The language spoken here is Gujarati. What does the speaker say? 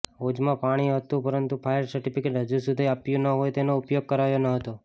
હોજમાં પાણી હતુ પરંતુ ફાયર સર્ટીફીકેટ હજુ સુધી આપ્યુ ન હોય તેનો ઉપયોગ કરાયો નહતો